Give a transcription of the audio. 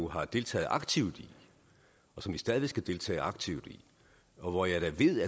har deltaget aktivt i og som vi stadig skal deltage aktivt i og jeg ved